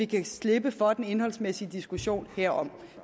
kan slippe for den indholdsmæssige diskussion herom